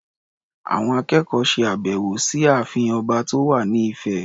Àwọn akẹ́kọ̀ọ́ ṣe àbẹ̀wọ̀ sí ààfin ọba tó wà ní Ifẹ̀.